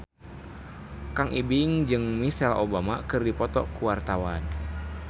Kang Ibing jeung Michelle Obama keur dipoto ku wartawan